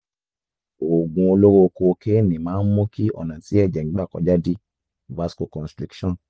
oògùn olóró kokéènì máa ń mú kí ọ̀nà tí ẹ̀jẹ̀ ń gbà kọjá dí (vasoconstriction)